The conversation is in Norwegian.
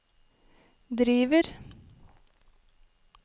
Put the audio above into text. driver